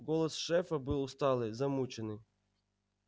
голос шефа был усталый замученный